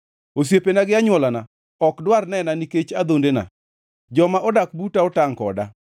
Osiepena gi anywolana ok dwar nena nikech adhondena; joma odak buta otangʼ koda.